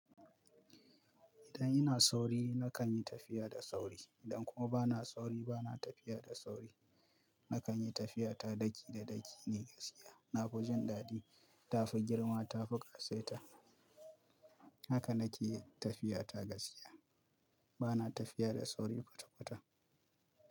Idan ina sauri nakan yi tafiya da sauri. Idan kuma bana sauri bana tafiya da sauri. Nakan yi tafiya ta daki da daki ne gaskiya. Na fi jin daɗi. Ta fi girma, ta fi ƙasaita. Haka nake tafiya ta gaskiya. Bana tafiya da sauri kwata-kwata.